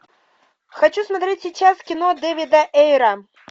хочу смотреть сейчас кино дэвида эйра